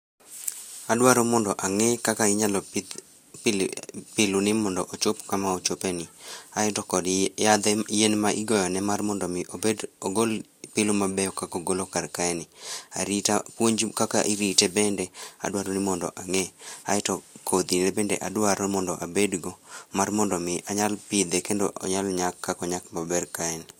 Adwaro mondo ang'e kaka inyalo pidh piluni mondo ochop kama ochopeni aito kod yien ma igoyone mar mondo omi ogol pilu mabeyo kaka ogolo karkae ni, puonj kaka irite bende adwaroni mondo ang'e aeto kodhine bende adwaro mondo abedgo mar mondo omi anyal apidhe kendo onyal nyak kaka onyak maber kaeni.